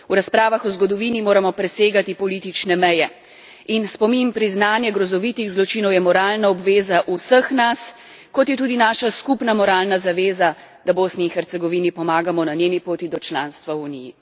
V razpravah o zgodovini moramo presegati politične meje. In spomin, priznanje grozovitih zločinov je moralna obveza vseh nas, kot je tudi naša skupna moralna zaveza, da Bosni in Hercegovini pomagamo na njeni poti do članstva v Uniji.